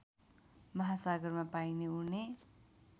महासागरमा पाइने उड्ने